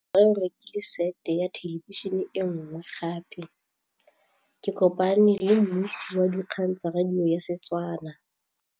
Rre o rekile sete ya thêlêbišênê e nngwe gape. Ke kopane mmuisi w dikgang tsa radio tsa Setswana.